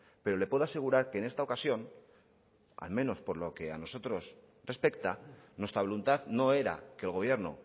pero le puedo asegurar que en esta ocasión al menos por lo que a nosotros respecta nuestra voluntad no era que el gobierno